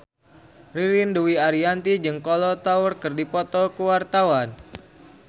Ririn Dwi Ariyanti jeung Kolo Taure keur dipoto ku wartawan